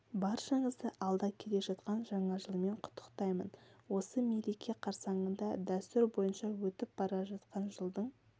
баршаңызды алда келе жатқан жаңа жылмен құттықтаймын осы мереке қарсаңында дәстүр бойынша өтіп бара жатқан жылдың